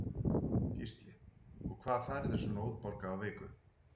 Gísli: Og hvað færðu svona útborgað á viku?